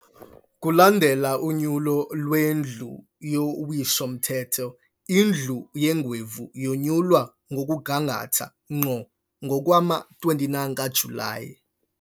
Kulandela unyulo lweNdlu yoWiso-mthetho, iNdlu yeeNgwevu yonyulwa ngokungathanga ngqo ngowama-29 kaJulayi.